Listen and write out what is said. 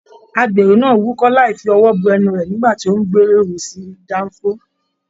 Agbéró náà wúkọ̀ láì fi ọwọ bo ẹnu rẹ nígbà tí o n gbéró sí danfo.